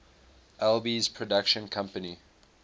alby's production company